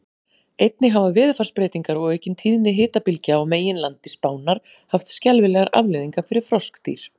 Einnig hafa veðurfarsbreytingar og aukin tíðni hitabylgja á meginlandi Spánar haft skelfilegar afleiðingar fyrir froskdýr.